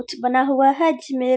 कुछ बना हुआ है जिसमे --